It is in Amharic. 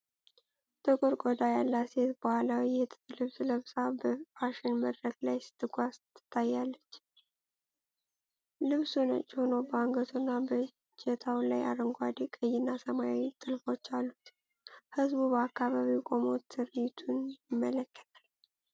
ጥቁር ቆዳ ያላት ሴት ባህላዊ የጥጥ ልብስ ለብሳ በፋሽን መድረክ ላይ ስትጓዝ ትታያለች። ልብሱ ነጭ ሆኖ በአንገቱና በእጀታው ላይ አረንጓዴ፣ ቀይና ሰማያዊ ጥልፎች አሉት። ህዝቡ በአካባቢው ቆሞ ትርዒቱን ይመለከታል።